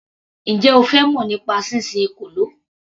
Njẹ́ O fẹ́ mọ̀ nípa sísin ekòló.